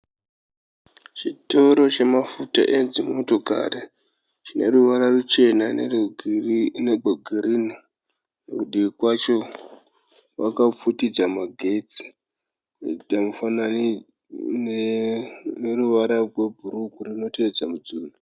Chitoro chemafuta edzimotokari chine ruvara ruchena negwegirini kudivi kwacho kwakafutidzwa magetsi kuita neruvara rwebhuruu runotevedza rudziro.